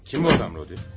Kimdir o adam, Rodion?